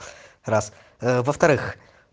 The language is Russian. раз ээ во-вторых